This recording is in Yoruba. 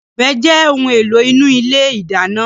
Ọ̀bẹ jẹ́ ohun èlò inú ilé ìdáná.